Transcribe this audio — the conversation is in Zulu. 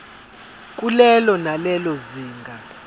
kulelo nalelo zinga